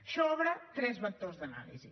això obre tres vectors d’anàlisi